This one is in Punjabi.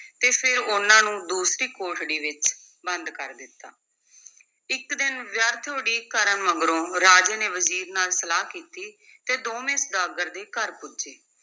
ਤੇ ਫਿਰ ਉਨ੍ਹਾਂ ਨੂੰ ਦੂਸਰੀ ਕੋਠੜੀ ਵਿੱਚ ਬੰਦ ਕਰ ਦਿੱਤਾ, ਇੱਕ ਦਿਨ ਵਿਅਰਥ ਉਡੀਕ ਕਰਨ ਮਗਰੋਂ ਰਾਜੇ ਨੇ ਵਜ਼ੀਰ ਨਾਲ ਸਲਾਹ ਕੀਤੀ ਤੇ ਦੋਵੇਂ ਸੁਦਾਗਰ ਦੇ ਘਰ ਪੁੱਜੇ।